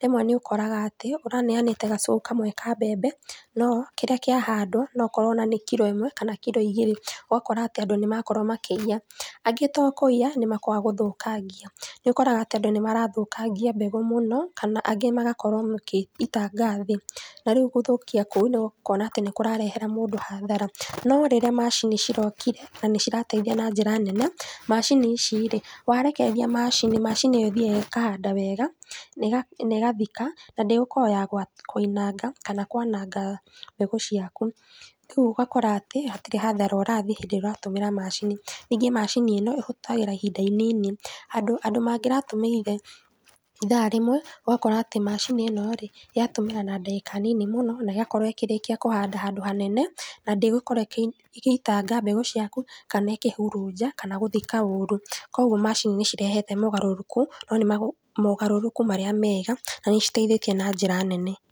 Rĩmwe nĩũkoraga atĩ ũraneanĩte gacuku kamwe ka mbembe no kĩrĩa kĩa handwa no okorwo nĩ kiro ĩmwe kana kiro igĩrĩ, ũgakora atĩ andũ nĩmarakorwa makĩiya ,angĩ to kũiya nĩmagũthũkangia, nĩũkoraga atĩ andũ nĩmathũkangia mbeũ mũnó kana angĩ magakorwo magĩitanga thĩ na rĩũ gũthũkia kũu makona nĩkũrarehera andũ hathara norĩrĩa macini cirokire nĩcirateithia na njĩra nene, macini ici rĩ, warekereria macini, macini ĩthiaga ĩkahanda weega na ĩgathika na ndĩgũkorwa ya kwananga mbegũ ciaku rĩũ ũgakora atĩ hatirĩ hathara ũrathiĩ tondũ nĩũratũmĩra macini, ningĩ macini ĩno ũhũthagĩra ihinda inini, andũ mangĩratũmĩrire ithaa rĩmwe ũgakora atĩ macini ĩno rĩ yatũmĩra na ndagĩka nini mũno na ĩgakorwo ĩkĩrĩkia kũhanda handũ hanene naa ndĩgũkorwo ĩgĩitanga mbegũ ciaku kana ĩkĩhuruja kana gũthikaa ũru, kwoguo macini nĩcirehete magarũrũku no nĩmogarũrũku arĩa mega na nĩciteithĩtie na njĩra nene.